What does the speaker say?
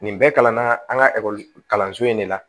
Nin bɛɛ kalanna an ka kalanso in de la